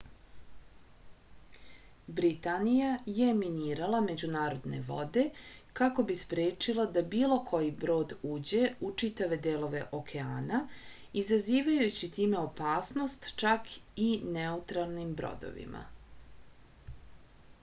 britanija je minirala međunarodne vode kako bi sprečila da bilo koji brod uđe u čitave delove okeana izazivajući time opasnost čak i neutralnim brodovima